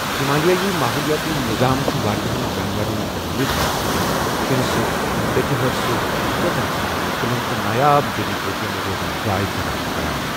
ہِمالیٲیی ماحولِیٲتی نِظام چُھ واریاہن جانوَرن جنٛگلی کَٹھ، شِنَہٕ سٕہہ، ٹیٚچہٕ ہٲرِ سٕہہ، تہٕ چیتن سان، کُلٮ۪ن تہٕ نایاب جڈی بوُٹٮ۪ن روزن جاے فَراہم کَران